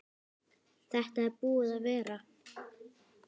Þetta er búið að vera.